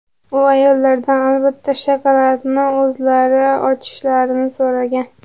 U ayollardan albatta shokoladni o‘zlari ochishlarini so‘ragan.